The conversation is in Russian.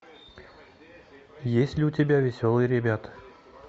есть ли у тебя веселые ребята